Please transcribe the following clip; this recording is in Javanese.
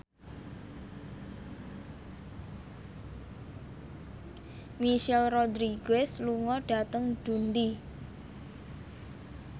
Michelle Rodriguez lunga dhateng Dundee